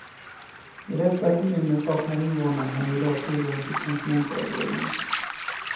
I dessa kommuner saknar invånarna i dag tillgång till konsumentvägledning.